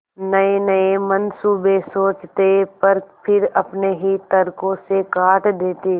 नयेनये मनसूबे सोचते पर फिर अपने ही तर्को से काट देते